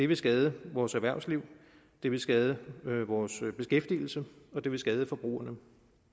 vil skade vores erhvervsliv det vil skade vores beskæftigelse og det vil skade forbrugerne